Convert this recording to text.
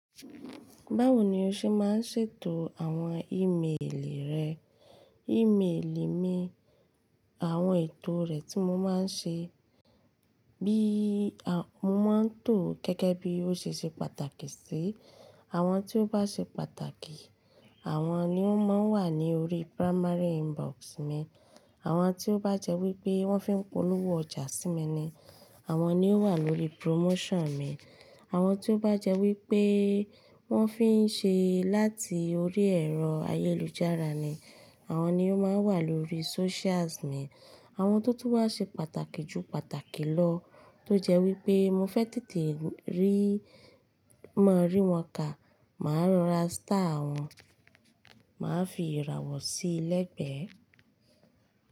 Báwo ni o ṣe máa ń ṣètò àwọn ímeèlì rẹ? Ímeèlì mi, àwọn ètò rẹ̀ tí mo máa ń ṣe, bí a, mo máa ń tò ó gẹ́gẹ́ bí ó ṣe ṣe pàtàkì sí i. Àwọn tí ó bá ṣe pàtàkì, àwọn ni ó máa ń wà ní orí primary inbox mi. Àwọn tí ó bá jẹ́ wípé wón fi ń polówó ọjà sí mi ni, àwọn ni ó wà lórí promotion mi. Àwọn tí ó bá jẹ́ wípé wón fi ń ṣe láti orí ẹ̀rọ ayélujára ni, àwọn ni ó máa ń wà lórí socials mi. Àwọn tó tún bá ṣe pàtàkì jù pàtàkì lọ tó jẹ́ wípé mo fẹ́ tètè rí, máa rí wọn ká, màá rá star àwọn, màá fi ìràwọ̀ sí i lẹ́gbẹ̀ẹ́.